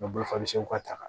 U bɛ bolofaseliw ka ta